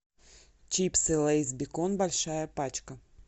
чипсы лейс бекон большая пачка